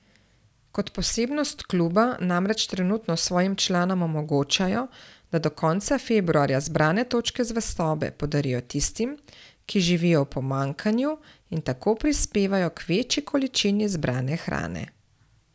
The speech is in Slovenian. Kot posebnost kluba namreč trenutno svojim članom omogočajo, da do konca februarja zbrane točke zvestobe podarijo tistim, ki živijo v pomanjkanju in tako prispevajo k večji količini zbrane hrane.